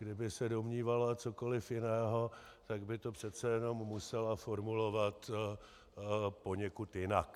Kdyby se domnívala cokoliv jiného, tak by to přece jenom musela formulovat poněkud jinak.